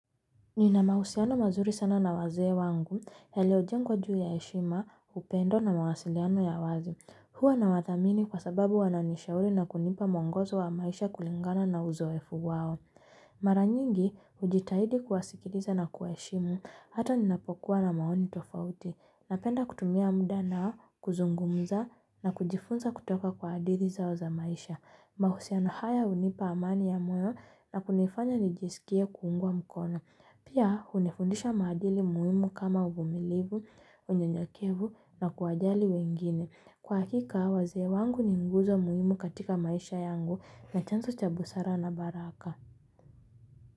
Nina mahusiano mazuri sana na wazee wangu yaliojengwa juu ya heshima, upendo na mawasiliano ya wazi. Huwa nawadhamini kwa sababu wananishauri na kunipa mwongozo wa maisha kulingana na uzoefu wao. Maranyingi, hujitahidi kuwasikiliza na kuwa heshimu, hata ninapokuwa na maoni tofauti. Napenda kutumia muda na kuzungumza na kujifunza kutoka kwa hadithi zao za maisha. Mahusiano haya hunipa amani ya moyo na kunifanya nijisikie kuungwa mkono. Pia, hunifundisha maadili muhimu kama uvumilivu, unyenyekevu na kuwajali wengine. Kwa hakika, wazee wangu ni nguzo muhimu katika maisha yangu na chanzo cha busara na baraka.